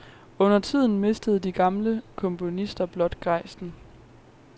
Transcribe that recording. Undertiden mistede de gamle komponister blot gejsten.